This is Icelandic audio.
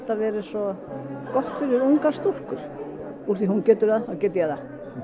vera svo gott fyrir ungar stúlkur úr því hún getur það þá get ég það